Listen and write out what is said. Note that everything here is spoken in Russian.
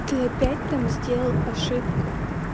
ты опять там сделал ошибку